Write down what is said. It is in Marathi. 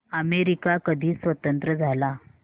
अमेरिका कधी स्वतंत्र झाला